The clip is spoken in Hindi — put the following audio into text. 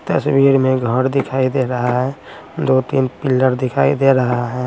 तस्वीर में घर दिखाई दे रहा है दो तीन पिलर दिखाई दे रहा है।